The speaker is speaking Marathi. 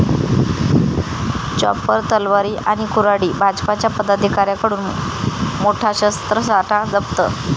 चॉपर, तलवारी आणि कुऱ्हाडी...भाजपच्या पदाधिकाऱ्याकडून मोठा शस्त्रसाठा जप्त